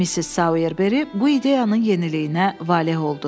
Missis Sayerberi bu ideyanın yeniliyinə valeh oldu.